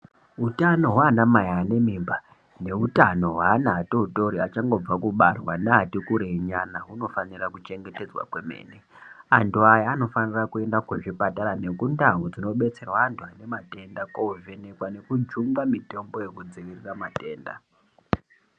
Utano hwanamai anemimba neutano hweana atotori achangobva kubarwa neati kurei nyana hunofanira kuchengetedzwa kwemene. Antu aya anovanira kuenda kuchipatara nekundau dzinodetserwa antu anematenda kovhenekwa nekujungwa mitombo yekudzivirira matenda.